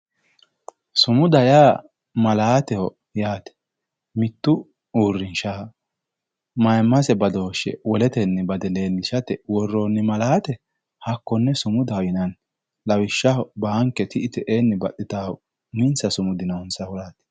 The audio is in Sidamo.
sumuda yaa malaateho yaate mittu uurrinshshaha maymase badooshshe woletenni bade leellishshate worroonni malaate hakkonne sumudaho yinanni lawishshaho banke ti'i te'eenni baxxitannohu uminsa sumudi noonsahuraati